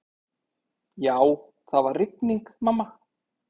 Já, það var rigning, mamma.